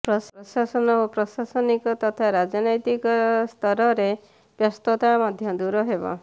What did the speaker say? ପ୍ରକାଶନ ଓ ପ୍ରଶାସନିକ ତଥା ରାଜନୈତିକ ସ୍ତରରେ ବ୍ୟସ୍ତତା ମଧ୍ୟ ଦୂର ହେବ